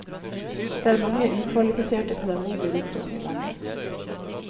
Det er mange ukvalifiserte pedagoger rundt om i landet.